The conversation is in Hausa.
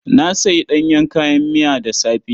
Na sayi ɗanyen kayan miya da safe.